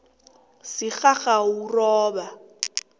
sigagawuroba